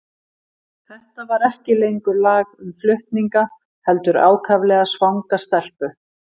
Þetta var ekki lengur lag um flutninga, heldur ákaflega svanga stelpu.